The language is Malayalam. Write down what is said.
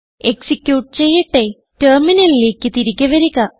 എക്സിക്യൂട്ട് ചെയ്യട്ടെ ടെർമിനലിലേക്ക് തിരികെ വരുക